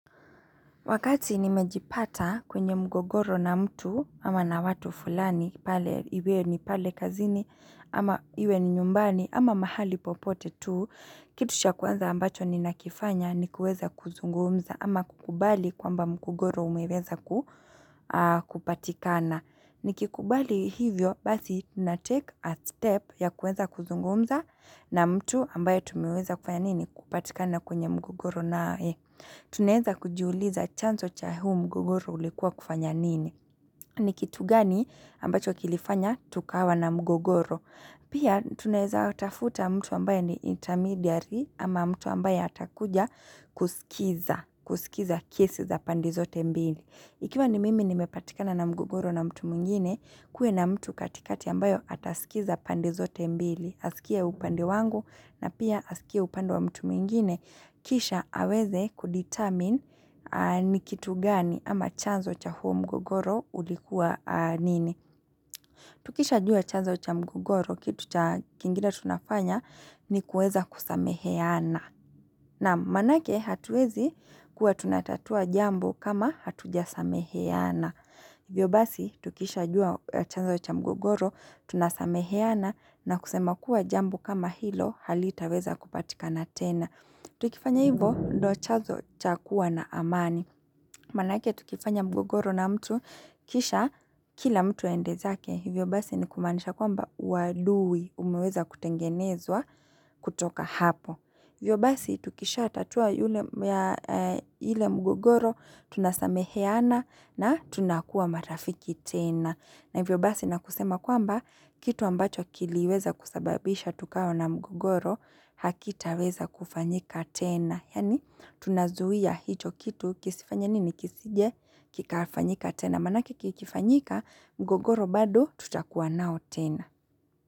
Wakati nimejipata kwenye mgogoro na mtu, ama na watu fulani, iwe ni pale kazini, ama iwe ni nyumbani, ama mahali popote tu, kitu cha kwanza ambacho ni nakifanya ni kueza kuzungumza, ama kukubali kwamba mgogoro umeweza kupatikana. Nikikubali hivyo, basi na take a step ya kueza kuzungumza na mtu ambaye tumiweza kufanya nini kupatikana kwenye mgogoro nae. Tunaeza kujiuliza chanso cha huu mgogoro ulikuwa kufanya nini? Ni kitu gani ambacho kilifanya tukawa na mgogoro. Pia tunaeza watafuta mtu ambaye ni intermediary ama mtu ambayo atakuja kusikiza kiesi za pande zote mbili. Ikiwa ni mimi nimepatikana na mgogoro na mtu mwingine, kue na mtu katikati ambayo atasikiza pande zote mbili. Asikie upande wangu na pia asikie upande wa mtu mwingine. Kisha aweze kudetermine ni kitu gani ama chanzo cha huo mgugoro ulikuwa nini. Tukisha jua chanzo cha mgugoro kitu cha kingine tunafanya ni kueza kusameheana. Na manake hatuwezi kuwa tunatatua jambo kama hatuja sameheana. Hivyo basi, tukishajua chazo cha mgogoro, tunasameheana na kusema kuwa jambo kama hilo, halitaweza kupatikana tena. Tukifanya hivo, ndo chazo cha kuwa na amani. Manake tukifanya mgogoro na mtu, kisha kila mtu aendezake. Hivyo basi ni kumaanisha kwamba uadui, umeweza kutengenezwa kutoka hapo. Hivyo basi, tukisha tatua yule mgogoro, tunasameheana na tunakuwa marafiki tena. Na hivyo basi na kusema kwamba, kitu ambacho kiliweza kusababisha tukawa na mgogoro, hakitaweza kufanyika tena. Yani, tunazuia hicho kitu, kisifanye nini kisije, kikafanyika tena. Manake kikifanyika, mgogoro bado tutakuwa nao tena.